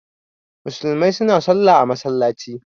Musulmai suna Sallah a masallaci.